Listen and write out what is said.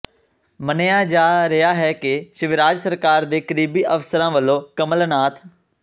ਮੰਨਿਆ ਜਾ ਰਿਹਾ ਹੈ ਕਿ ਸ਼ਿਵਰਾਜ ਸਰਕਾਰ ਦੇ ਕਰੀਬੀ ਅਫ਼ਸਰਾਂ ਵਲੋਂ ਕਮਲਨਾਥ